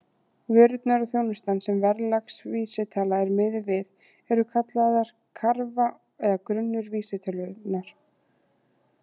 Vörurnar og þjónustan sem verðlagsvísitala er miðuð við eru kallaðar karfa eða grunnur vísitölunnar.